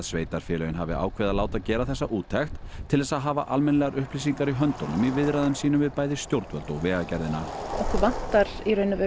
sveitarfélögin hafi ákveðið að láta gera þessa úttekt til þess að hafa almennilegar upplýsingar í höndunum í viðræðum sínum við bæði stjórnvöld og Vegagerðina okkur vantar